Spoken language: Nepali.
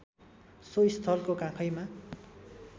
सो स्थलको काखैमा